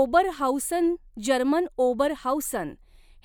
Oberhausen German Oberhausen